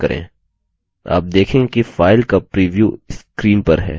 आप देखेंगे कि file का प्रिव्यू screen पर है